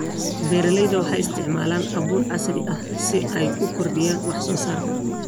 Beeraleydu waxay isticmaalaan abuur casri ah si ay u kordhiyaan wax soo saarka.